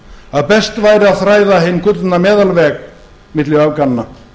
að best væri að þræða hinn gullna meðalveg milli öfganna